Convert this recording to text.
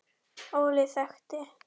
Óli þekkti.